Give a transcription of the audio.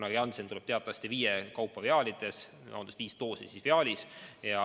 Janssen tuleb teatavasti viie doosi kaupa viaalides – viis doosi on viaalis.